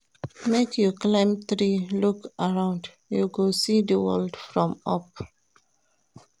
Make you climb tree look around, you go see di world from up.